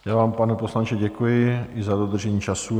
Já vám, pane poslanče, děkuji, i za dodržení času.